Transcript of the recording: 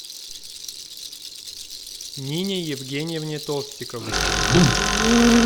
нине евгеньевне толстиковой